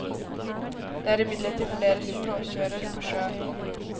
Det er imidlertid flere som råkjører på sjøen.